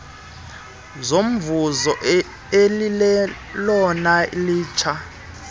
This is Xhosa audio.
zomvuzo elilelona litsha